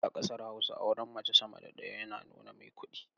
A kasar Hausa auren mace sama da ɗaya yana nuna mai kudi.